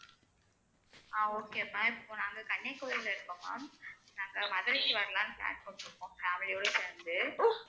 அஹ் okay ma'am இப்ப நாங்க கன்னியாகுமரில இருக்கோம் ma'am நாங்க மதுரைக்கு வரலாம்னு plan போட்டுருக்கோம் family யோட சேர்ந்து